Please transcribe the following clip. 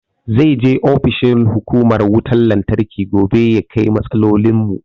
Zai je ofishin hukumar wutan lantarki gobe ya kai matsalolin mu